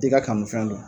I ka kanu fɛn don